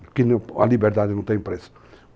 Porque a liberdade não tem preço.